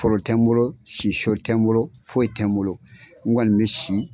Foro tɛ n bolo si so tɛ n bolo foyi tɛ n bolo n kɔni bɛ si